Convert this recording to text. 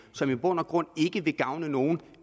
som i bund og grund ikke vil gavne nogen